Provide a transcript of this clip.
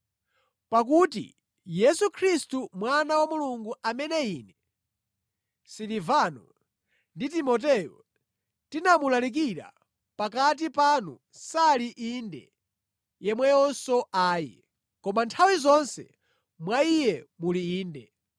Pakuti Yesu Khristu mwana wa Mulungu amene ine, Silivano ndi Timoteyo tinamulalikira pakati panu sali “Inde” yemweyonso “Ayi.” Koma nthawi zonse mwa Iye muli “Inde.”